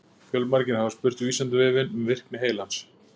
Fjölmargir hafa spurt Vísindavefinn um virkni heilans.